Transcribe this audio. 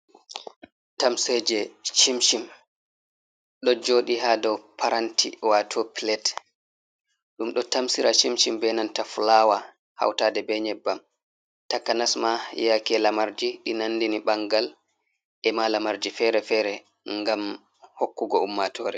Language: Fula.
Tamseje chim chim ɗo joɗi ha dow paranti wato plat, ɗum ɗo tamsira chim chim be nanta fulawa hautade be nyebbam takanas ma yake lamarji ɗi nandini bangal e ma lamarji fere-fere, ngam hokkugo ummatore.